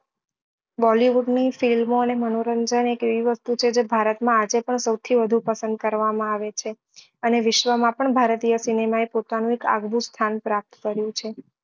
bollywood ની film ઓ અને મનોરંજન એક એવી વસ્તુ છે કે ભારત માં આજે પણ સૌથી વધુ પસંદ કરવા માં આવે છે અને વિશ્વ માં પણ ભારતીય સિનેમા એ પોતાનું એક આગવું સ્થાન પ્રાપ્ત કર્યું ચેવ